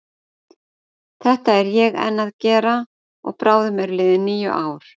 Þetta er ég enn að gera og bráðum eru liðin níu ár.